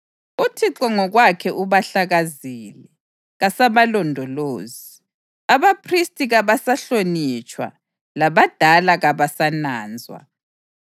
UThixo ngokwakhe ubahlakazile; kasabalondolozi. Abaphristi kabasahlonitshwa, labadala kabasananzwa.